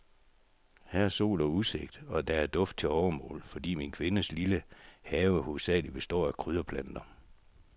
Her er sol og udsigt, og her er duft til overmål, fordi min kvindes lille have hovedsagelig består af krydderplanter.